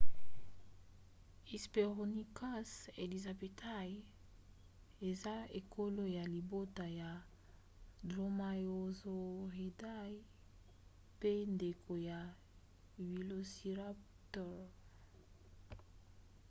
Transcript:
hesperonychus elizabethae eza ekolo ya libota ya dromaeosauridae mpe ndeko ya velociraptor